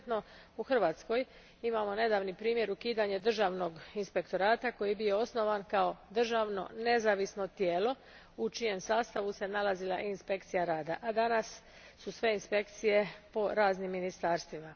Konkretno, u Hrvatskoj, imamo nedavni primjer ukidanja državnog inspektorata koji je bio osnovan kao državno nezavisno tijelo u čijem sastavu se nalazila inspekcija rada, a danas su sve inspekcije po raznim ministarstvima.